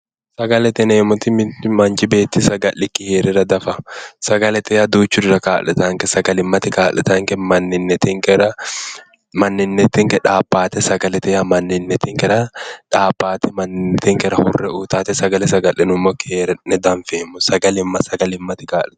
Sagalete yineemmoti mittu beetti manchi beetti saga'likki heerara diafa. Sagalete yaa duuchurira kaa'litayonke. Sagalimmate kaa'litaanke manninnatinkera sagale manninnatinke xaabbaate sagalete. Sagalete yaa manninnetinkera xaabbaate manninnetinkera hurre uutaate. Sagale saga'linummoki hee'ne dianfeemmo. Sagalimma sagalimmate kaa'lita.